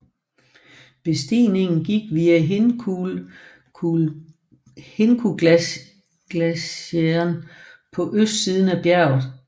Bestigningen gik via Hinkuglacieren på østsiden af bjerget